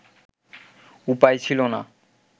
উপায় ছিল না